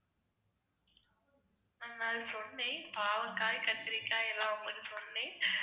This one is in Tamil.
நான் அது சொன்னேன் பாவக்காய், கத்திரிக்காய் எல்லாம் உங்களுக்கு சொன்னேன்.